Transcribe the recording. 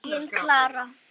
Engin Klara!